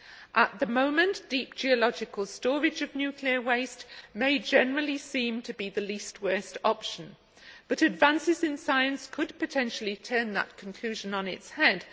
At the moment the geological storage of nuclear waste may very generally seem to be the least worst option, but advances in science could potentially turn that conclusion on its head.